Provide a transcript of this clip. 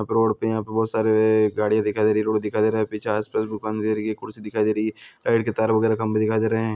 Road पे यहाँ पे बहोत सारे गाड़ीयाँ दिखाई दे रही है रोड दिखाई दे रहा है पीछे आस-पास दुकान दिखाई दे रही है कुर्सी दिखाई दे रही है। पेड़ पे तार वगेरा खम्भे दिखाई दे रहे हैं।